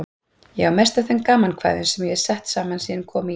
Ég á mest af þeim gamankvæðum sem ég hef sett saman síðan ég kom í